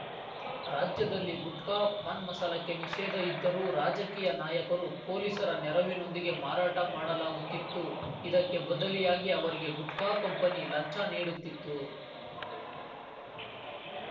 ರಾಜ್ಯದಲ್ಲಿ ಗುಟ್ಕಾ ಪಾನ್‌ ಮಸಾಲಕ್ಕೆ ನಿಷೇಧ ಇದ್ದರೂ ರಾಜಕೀಯ ನಾಯಕರು ಪೊಲೀಸರ ನೆರವಿನೊಂದಿಗೆ ಮಾರಾಟ ಮಾಡಲಾಗುತ್ತಿತ್ತು ಇದಕ್ಕೆ ಬದಲಿಯಾಗಿ ಅವರಿಗೆ ಗುಟ್ಕಾ ಕಂಪನಿ ಲಂಚ ನೀಡುತ್ತಿತ್ತು